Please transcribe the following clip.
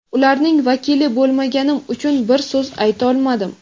ularning vakili bo‘lmaganim uchun bir so‘z aytolmadim.